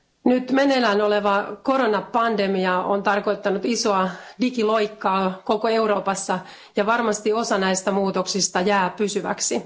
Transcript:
Nyt meneillään oleva koronapandemia on tarkoittanut isoa digiloikkaa koko Euroopassa, ja varmasti osa näistä muutoksista jää pysyväksi.